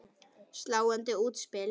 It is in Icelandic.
Sláandi útspil.